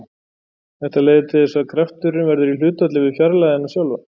Þetta leiðir til þess að krafturinn verður í hlutfalli við fjarlægðina sjálfa.